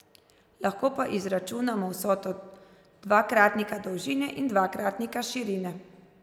Lahko pa izračunamo vsoto dvakratnika dolžine in dvakratnika širine.